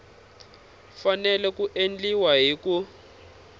fanele ku endliwa hi ku